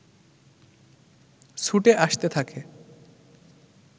ছুটে আসতে থাকে